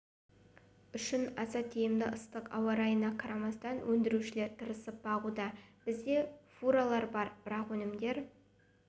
үшін аса тиімді ыстық ауарайына қарамастан өндірушілер тырысып бағуда бізде фуралар бар барлық өнімдер